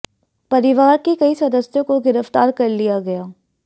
परिवार के कई सदस्यों को गिरफ्तार कर लिया गया